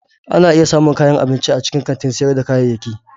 Ana iya samun kayan abinci a cikin kantin sayar da kayayyaki.